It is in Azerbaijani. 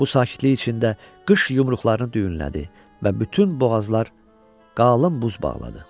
Bu sakitlik içində qış yumruqlarını düyünlədi və bütün boğazlar qalın buz bağladı.